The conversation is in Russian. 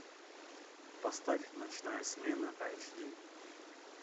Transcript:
поставь ночная смена айч ди